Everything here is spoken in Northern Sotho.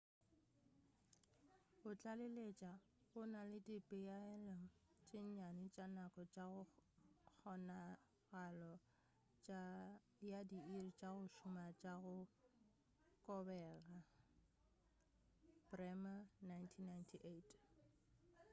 go tlaleletša go na le dipeelo tše nnyane tša nako tša kgonagalo ya diiri tša go šoma tša go kobega. bremer 1998